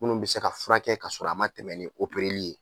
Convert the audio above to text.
Munnu bɛ se ka furakɛ ka sɔrɔ a ma tɛmɛn ni opereli ye.